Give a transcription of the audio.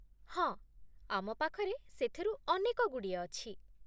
ହଁ, ଆମ ପାଖରେ ସେଥିରୁ ଅନେକଗୁଡ଼ିଏ ଅଛି ।